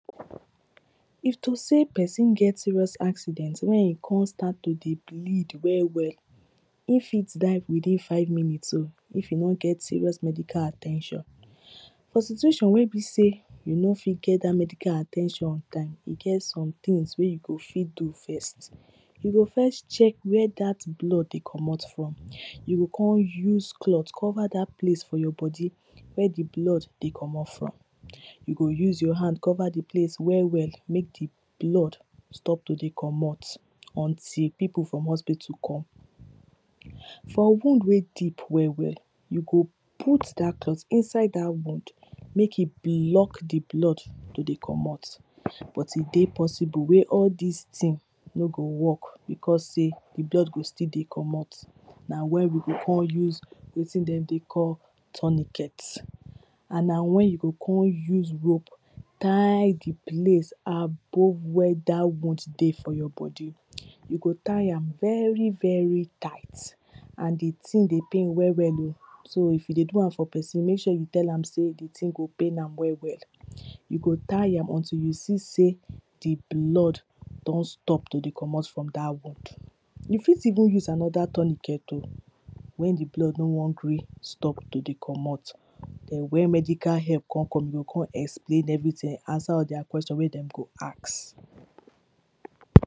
If to sey person get serious accident wey come start to dey blind well well e fit dey wetin five minutes oh, if e no get serious medical at ten tion For situation wey be sey you no fit get dat medical at ten tion on time, e get some things wey you go fit do first you go first check where dat blood dey comot from, you go come use cloth cover dat place for your body where di blood dey comot from. You go use your hand cover di place well well make di blood stop to dey comot, until pipo from hospital come For wound wey deep well well, you go put dat cloth inside that wound make e blood to dey comot, but e dey possible wey all dis thing no go work, becos sey di blood go still dey comot. Na where we go come use wetin dem dey call tourniquet and na wen you you go come use rope tie di place above where dat wound dey for your body You go tie very very tight and di thing dey pain well well oh so if you dey do am for person, make sure you tell am sell di thing go pain am well well You go tie am until you see sey di blood don stop to dey comot from dat wound You fit even use another tourniquet oh wen di blood no wan gree stop to dey comot Then wen medical help come come, you go explain everything, answer their question wey dem go ask